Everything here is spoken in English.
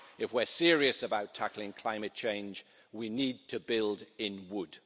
If we are serious about tackling climate change, we need to build in wood.